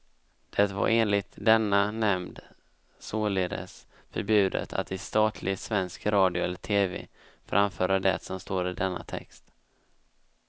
Det var enligt denna nämnd således förbjudet att i statlig svensk radio eller tv framföra det som står i denna text.